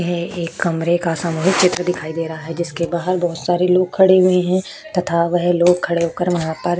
ये एक कमरे का सामूहिक चित्र दिखाई दे रहा है जिसके बाहर बहुत सारे लोग खड़े हुए तथा वह लोग खड़े होकर वहाँ पर --